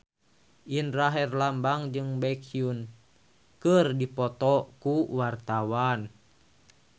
Indra Herlambang jeung Baekhyun keur dipoto ku wartawan